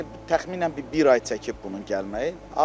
Yəni təxminən bir ay çəkib bunun gəlməyi.